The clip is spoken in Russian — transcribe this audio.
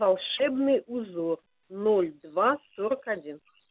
волшебный узор ноль два сорок один